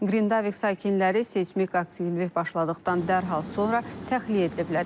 Qrindavik sakinləri seysmik aktivlik başladıqdan dərhal sonra təxliyə ediliblər.